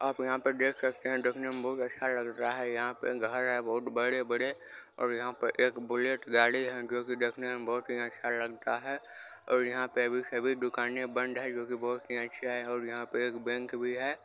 आप यहां पे देख सकते हैं देखना में बहुत अच्छा लग रहा है | यहां पे घर है बहुत बड़े-बड़े और यहां पे एक बुलेट गाड़ी है जो की देखने में बहुत ही अच्छा लगता है। और यहां पे अभी सभी दुकानें बंद हैं जो की बहुत ही अच्छे है और यहां पे एक बैंक भी है।